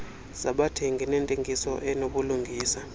zabathengi nentengiso enobulungisa